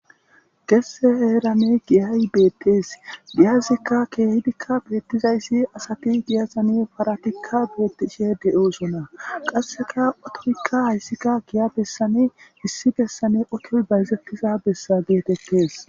gesse heerane giyay beettees diyazikka keehidikka beettizayssi asati giyazane paratikka betishe de7usona qasseka atorikka hayssika giya bessane hissi gessane okoy bayzettiza bessa geetettes